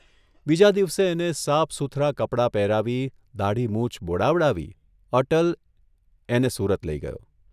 બીજા દિવસે એને સાફસૂથરાં કપડાં પહેરાવી, દાઢી મૂછ બોડાવડાવી અટલ એને સુરત લઇ ગયો.